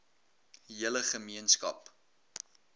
hele ge meenskap